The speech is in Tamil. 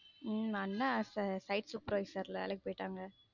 உம் அண்ணா site supervisor வேலைக்கி போய்ட்டாங்க.